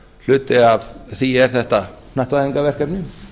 hluti af því er þetta hnattvæðingarverkefni